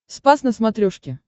спас на смотрешке